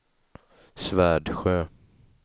Svärdsjö